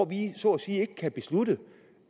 vi så at sige ikke kan beslutte